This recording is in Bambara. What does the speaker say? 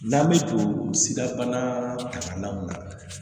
N'an bɛ don sidabana talaw la